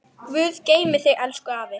Guð geymi þig, elsku afi.